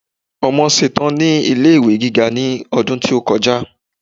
ọmọ ṣetan ni ilé ìwé gíga ní ọdún tí o kọjá